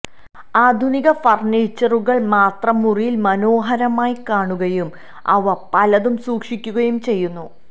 ആധുനിക ഫർണീച്ചറുകൾ മാത്രം മുറിയിൽ മനോഹരമായി കാണുകയും അവ പലതും സൂക്ഷിക്കുകയും ചെയ്യുന്നു